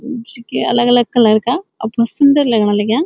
जु कि अलग अलग कलर का अपणु सुन्दर लगण लग्यां।